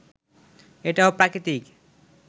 এটাও প্রাকৃতিক